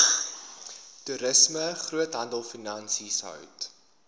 toerisme groothandelfinansies hout